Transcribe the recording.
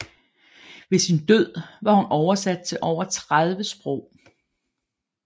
Ved sin død var hun oversat til over 30 sprog